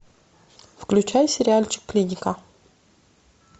включай сериальчик клиника